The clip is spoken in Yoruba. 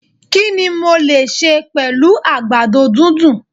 Kini mo lè sẹ̀ pẹ̀lú àgbàdo dúndùn?